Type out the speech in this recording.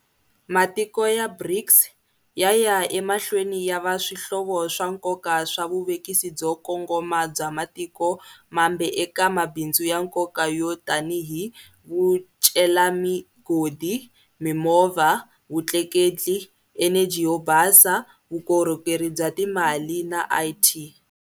Matiko ya BRICS ya ya emahlweni ya va swihlovo swa nkoka swa vuvekisi byo kongoma bya matiko mambe eka mabindzu ya nkoka yo tanihi vucelami godi, mimovha, vutleketli, eneji yo basa, vukorhokeri bya timali na IT.